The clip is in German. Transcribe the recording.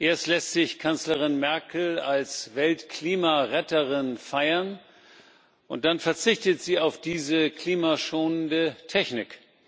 Erst lässt sich Kanzlerin Merkel als Weltklimaretterin feiern, und dann verzichtet sie auf diese klimaschonende Technik.